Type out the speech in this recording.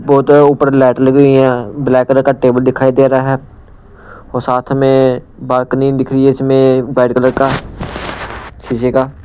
बहुत ऊपर लाइट लगी हुई है ब्लैक कलर का टेबल दिखाई दे रहा है और साथ में बालकनी दिख रही है इसमें वाइट कलर का शीशे का--